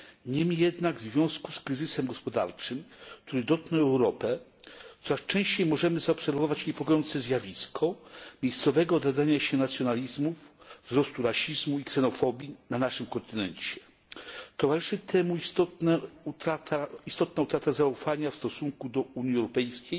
Niemniej jednak w związku z kryzysem gospodarczym, który dotknął Europę, coraz częściej możemy zaobserwować niepokojące zjawisko miejscowego odradzania się nacjonalizmów, wzrostu rasizmu i ksenofobii na naszym kontynencie. Towarzyszy temu istotna utrata zaufania w stosunku do Unii Europejskiej